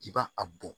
I b'a a bɔn